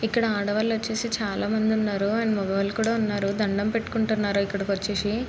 ఇక్కడ ఆడవాళ్లు వచ్చేసి చాలామంది ఉన్నారు అండ్ మొగవాలు కూడా ఉన్నారు దండం పెట్టుకుంటున్నారు ఇక్కడకు వచ్చేసి --